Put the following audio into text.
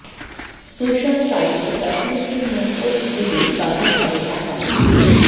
social সাইটে কাশ্মীরকে নিয়ে পোস্ট দিলেই বাতিল হবে অ্যাকাউন্ট